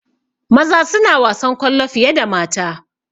Maza suna wasan kwallo fiye da mata